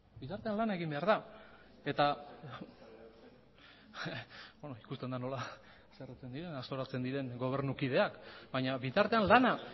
bitartean lana egin behar da eta beno ikusten dut nola haserretzen diren gobernuko kideak baina bitartean